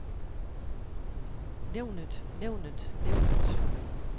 nævnet nævnet nævnet